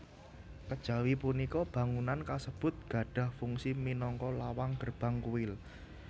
Kejawi punika bangunan kasebut gadhah fungsi minangka lawang gerbang kuil